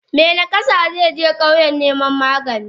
Me nakasa zeje kauyen niman magani.